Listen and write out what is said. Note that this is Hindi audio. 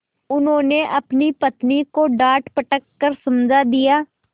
उन्होंने अपनी पत्नी को डाँटडपट कर समझा दिया